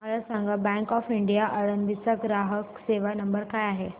मला सांगा bank of India Alandi चा ग्राहक सेवा नंबर काय आहे